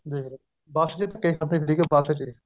ਦੇਖਲੋ ਬੱਸ ਜੀ